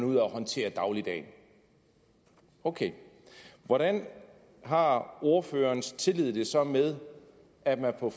ud af at håndtere dagligdagen ok hvordan har ordførerens tillid det så med at man for